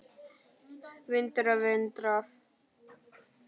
Vindur og vindrof